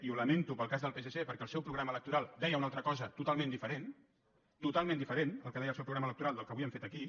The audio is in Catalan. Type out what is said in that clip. i ho lamento pel cas del psc perquè el seu programa electoral deia una altra cosa totalment diferent totalment diferent el que deia el seu programa electoral del que avui han fet aquí